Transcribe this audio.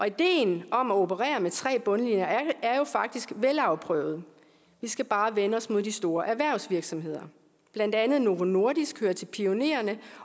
ideen om at operere med tre bundlinjer er jo faktisk velafprøvet vi skal bare vende os mod de store erhvervsvirksomheder blandt andet novo nordisk hører til pionererne